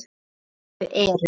Helstu eru